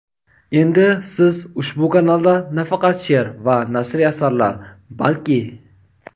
Endi siz ushbu kanalda nafaqat she’r va nasriy asarlar, balki.